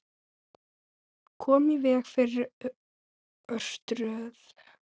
Koma í veg fyrir örtröð.